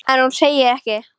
En ég segi ekkert.